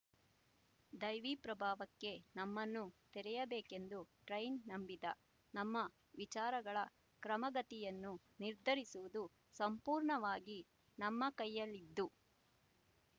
ದೈವೀ ಪ್ರಭಾವಕ್ಕೆ ನಮ್ಮನ್ನು ತೆರೆಯಬೇಕೆಂದು ಟ್ರೈನ್ ನಂಬಿದ ನಮ್ಮ ವಿಚಾರಗಳ ಕ್ರಮಗತಿಯನ್ನು ನಿರ್ಧರಿಸುವುದು ಸಂಪೂರ್ಣವಾಗಿ ನಮ್ಮ ಕೈಯಲ್ಲಿದ್ದು